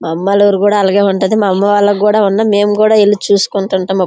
మా అమ్మ వాళ్ళ ఊరు కూడా అలగే ఉంటాది. మా అమ్మ వాళ్లకు కూడా ఉన్న మేము కూడా ఎల్లి చూసుకుంటూ ఉంటాము. అప్--